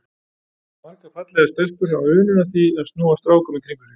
Margar fallegar stelpur hafa unun af því að snúa strákum í kringum sig.